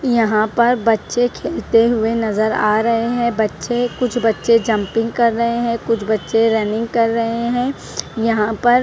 यहां पर बच्चे खेलते हुए नजर आ रहे हैं बच्चे कुछ बच्चे जंपिंग कर रहे हैं कुछ बच्चे रनिंग कर रहे हैं यहां पर ---